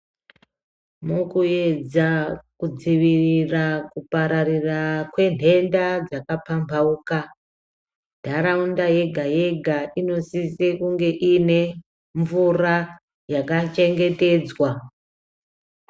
Mukuedza kudzivirira kupararira kwendenda dzakapambauka, ndharawunda yega yega inosise kunge inemvura yakachengetedzwa.